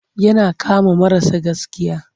Yana kama marasa gaskiya.